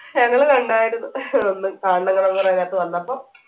ഞങ്ങൾ കണ്ടാർന്നു അന്ന് നേരത്ത് വന്നപ്പോ